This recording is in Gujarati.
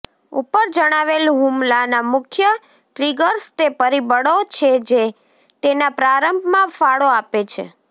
ઉપર જણાવેલ હુમલાના મુખ્ય ટ્રિગર્સ તે પરિબળો છે જે તેના પ્રારંભમાં ફાળો આપે છે